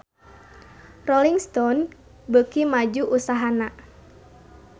Rolling Stone beuki maju usahana